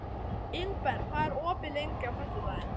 Ingberg, hvað er opið lengi á föstudaginn?